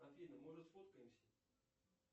афина может сфоткаемся